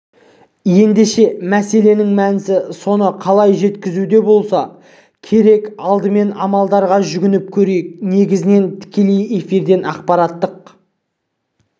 ендеше мәселенің мәнісі соны қалай жеткізуде болса керек алдымен амалдарға жүгініп көрейік негізінен тікелей эфирден ақпараттық